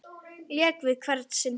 Lék við hvern sinn fingur.